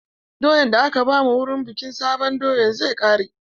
Doyan da aka ba mu wurin bikin sabon doya zai ƙare.